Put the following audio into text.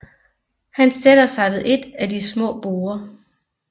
Han sætter sig ved et af de små borde